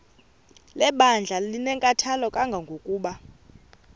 lebandla linenkathalo kangangokuba